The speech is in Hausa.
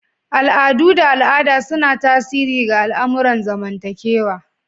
Al'adu da al'ada suna tasiri ga al'amuran zamantakewa